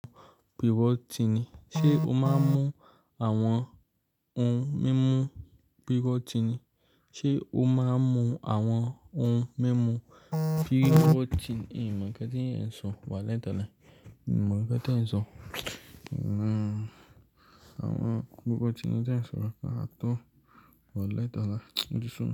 Pe woti ni. Ṣé o máa ń mu àwọn ohun mímu pre-workout ni? Ṣé o máa ń mu àwọn ohun mímu prewoti? N o mọ̀ nkan ten sọ wálahi taláì. N o mọ̀ nkan ten sọ. Àwọn pre-workout yẹn tí ẹ̀ ń sọ náà to wà lẹ́ẹ̀tọ láì. Mo ti sọ.